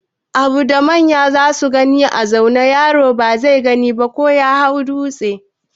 Abun da manya zasu gani a zaune, yaro ba zai gansa ba ko ya hau dūtse.